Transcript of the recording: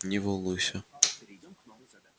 не волнуйся